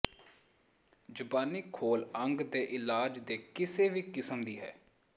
ਜ਼ਬਾਨੀ ਖੋਲ ਅੰਗ ਦੇ ਇਲਾਜ ਦੇ ਕਿਸੇ ਵੀ ਕਿਸਮ ਦੀ ਹੈ